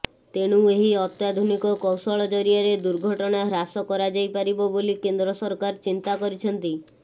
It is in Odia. ତେଣୁ ଏହି ଅତ୍ୟାଧୁନିକ କୌଶଳ ଜରିଆରେ ଦୁର୍ଘଟଣା ହ୍ରାସ କରାଯାଇପାରିବ ବୋଲି କେନ୍ଦ୍ର ସରକାର ଚିନ୍ତା କରିଛନ୍ତି